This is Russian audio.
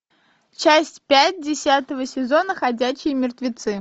часть пять десятого сезона ходячие мертвецы